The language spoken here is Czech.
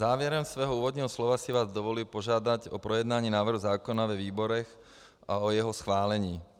Závěrem svého úvodního slova si vás dovolím požádat o projednání návrhu zákona ve výborech a o jeho schválení.